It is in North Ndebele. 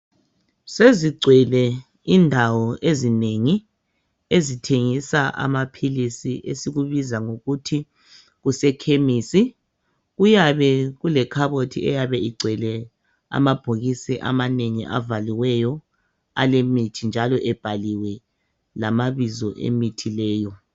Sezigcwele indawo ezinengi ezithengisa amaphilisi esikubiza ngokuthi kusekhemisi , kuyabe kulekhabothi eyabe igcwele amabhokisi amanengi avaliweyo alemithi njalo ebhaliwe lamabizo emithi leyo